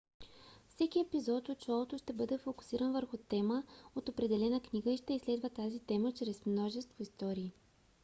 всеки епизод от шоуто ще бъде фокусиран върху тема от определена книга и ще изследва тази тема чрез множество истории